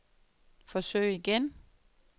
forsøg igen